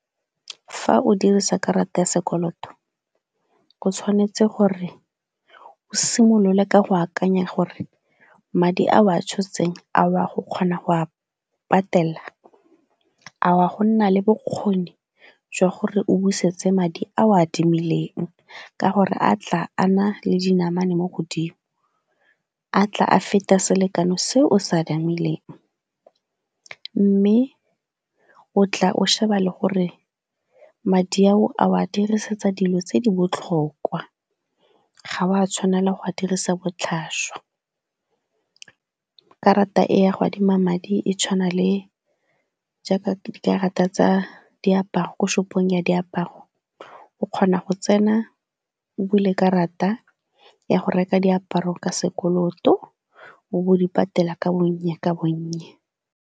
Fa o dirisa karata ya sekoloto o tshwanetse gore o simolole ka go akanya gore madi a o a tshotseng a o a go kgona go a patela, a wa go nna le bokgoni jwa gore o busetse madi a o a adimileng, ka gore a tla a na le dinamane mo godimo. A tla a feta selekano se o se adimileng, mme o tla o sheba le gore madi ao a o a dirisetsa dilo tse di botlhokwa. Ga o a tshwanela go a dirisa botlhaswa. Karata e ya go adima madi e tshwana le jaaka dikarata tsa diaparo ko shop-ong ya diaparo o kgona go tsena, o bule karata ya go reka diaparo ka sekoloto o bo o di patela ka bonye ka bonye.